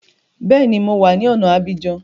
Bẹ́ẹ̀ni, mo ti wá ní ọ̀na Abidjan